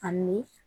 Ani